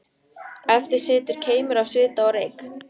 Eftir situr keimur af svita og reyk.